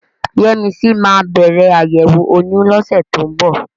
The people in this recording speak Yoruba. Yẹ́misí máa bẹ̀rẹ̀ àyẹ̀wò oyún lọ́sẹ̀ tó ń bọ̀.